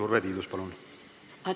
Urve Tiidus, palun!